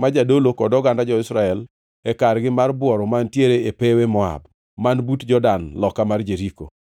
ma jadolo kod oganda jo-Israel e kargi mar bworo mantiere e pewe Moab, man but Jordan loka mar Jeriko.